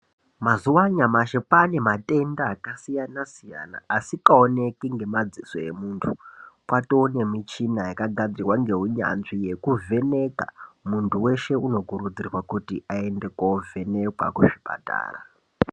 Mazuwa anyamashi kwane matenda akasiyana siyana asingaonekwi ngemadziso emuntu kwatonemichina yakagadzirwa neunyanzvi yekuvheneka, muntu weshe unokurudzirwa kuti aende kovhenekwa kuzvipatara.